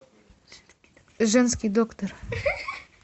женский доктор